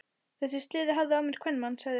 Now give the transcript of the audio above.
Þessi sleði hafði af mér kvenmann, sagði hann.